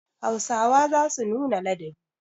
Hausawa za su nuna ladabi.